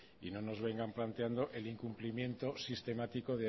y no nos vengan planteando el incumplimiento sistemático